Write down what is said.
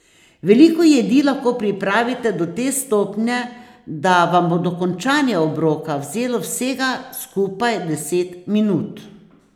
Veliko jedi lahko pripravite do te stopnje, da vam bo dokončanje obroka vzelo vsega skupaj deset minut.